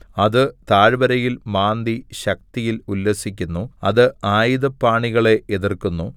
അത് താഴ്വരയിൽ മാന്തി ശക്തിയിൽ ഉല്ലസിക്കുന്നു അത് ആയുധപാണികളെ എതിർക്കുന്നു